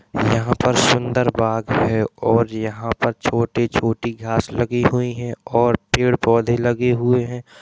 यहाँ पर सुंदर बाग है और यहाँ पर छोटी-छोटी घास लगी हुई है और पेड़ पौधे लगे हुए हैं।